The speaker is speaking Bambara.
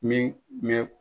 Ne ɲɛn.